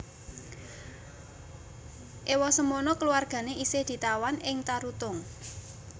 Ewasemono keluargane isih ditawan ing Tarutung